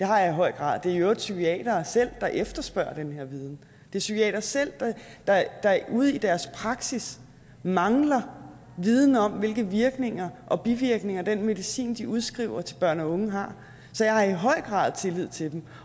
har jeg i høj grad det er i øvrigt psykiatere selv der efterspørger den her viden det er psykiatere selv der ude i deres praksis mangler viden om hvilke virkninger og bivirkninger af den medicin de udskriver til børn og unge har så jeg har i høj grad tillid til dem